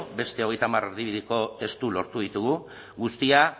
beste hogeita hamar erdibideko testu lortu ditugu guztia